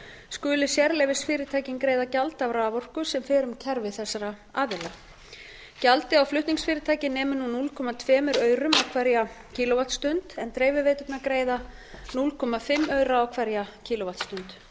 skuli sérleyfisfyrirtækin greiða gjald af raforku sem fer um kerfi þessara aðila gjaldið á flutningsfyrirtæki nemur nú núll komma tvö aurum á hverja kílóvattstund en dreifiveiturnar greiða hálft aura á hverja kílóvattstund